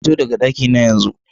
Fito daga daki na yanzu!